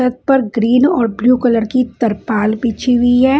पर ग्रीन और blue colour की तिरपाल बिछी हुई है।